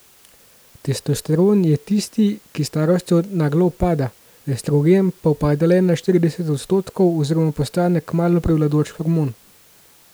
Testosteron je tisti, ki s starostjo naglo upada, estrogen pa upade le na štirideset odstotkov oziroma postane kmalu prevladujoč hormon.